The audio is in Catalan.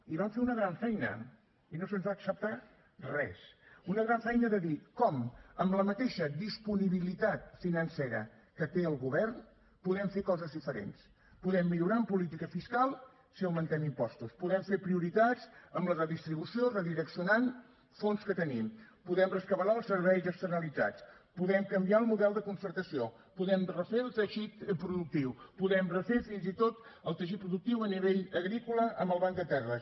i vam fer una gran feina i no se’ns va acceptar res una gran feina de dir com amb la mateixa disponibilitat financera que té el govern podem fer coses diferents podem millorar en política fiscal si augmentem impostos podem fer prioritats amb la redistribució redireccionant fons que tenim podem rescabalar els serveis externalitzats podem canviar el model de concertació podem refer el teixit productiu podem refer fins i tot el teixit productiu a nivell agrícola amb el banc de terres